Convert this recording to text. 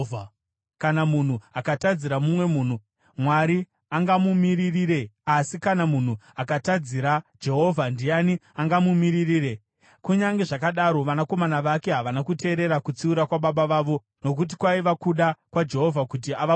Kana munhu akatadzira mumwe munhu, Mwari angamumiririre, asi kana munhu akatadzira Jehovha, ndiani angamumiririre?” Kunyange zvakadaro, vanakomana vake havana kuteerera kutsiura kwababa vavo, nokuti kwaiva kuda kwaJehovha kuti avauraye.